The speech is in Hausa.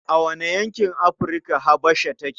A wane yankin Afrika Habasha take?